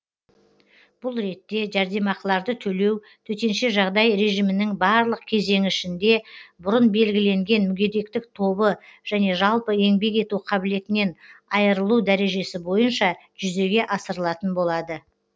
бұл ретте жәрдемақыларды төлеу төтенше жағдай режимінің барлық кезеңі ішінде бұрын белгіленген мүгедектік тобы және жалпы еңбек ету қабілетінен айырылу дәрежесі бойынша жүзеге асырылатын болады